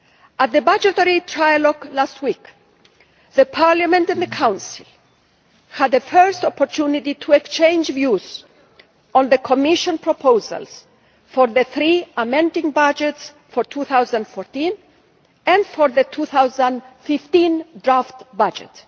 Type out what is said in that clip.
At the budgetary trilogue last week, Parliament and the Council had a first opportunity to exchange views on the Commission proposals for the three amending budgets for 2014 and for the 2015 draft budget.